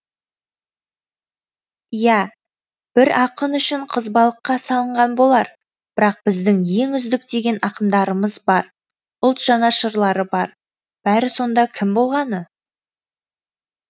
иә бір ақын үшін қызбалыққа салынған болар бірақ біздің ең үздік деген ақындарымыз бар ұлт жанашырлары бар бәрі сонда кім болғаны